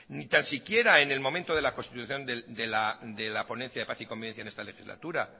ni tan siquiera en el momento de las constitución de la ponencia de paz y convivencia en esta legislatura